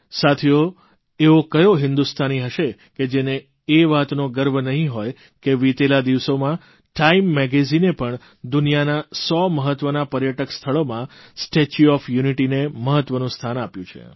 સાથીઓ એવો કયો હિંદુસ્તાની હશે જેને એ વાતનો ગર્વ નહીં હોય કે વિતેલા દિવસોમાં ટાઇમ મેગેઝીને પણ દુનિયાના 100 મહત્વનાં પર્યટક સ્થળોમાં સ્ટેચ્યુ ઓફ યુનિટીને મહત્વનું સ્થાન આપ્યું છે